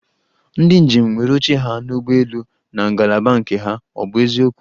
Ndi njem nwere oche ha n'ụgbọelu na ngalaba nke ha, ọ bụ eziokwu?